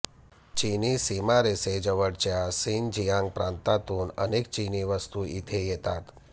चीनी सीमारेषेजवळच्या शिनजियांग प्रांतातून अनेक चीनी वस्तू इथे येतात